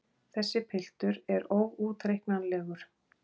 Þessi piltur er óútreiknanlegur!